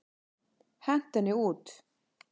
Hentu henni út!